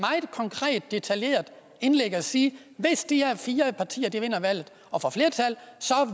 detaljeret indlæg og sige at hvis de her fire partier vinder valget og får flertallet